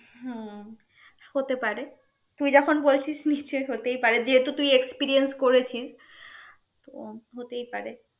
হম হতে পারে তুই যখন বলছিস নিশ্চয় হতেই পারে যেহেতু তুই experience করেছিস তো হতেই পারে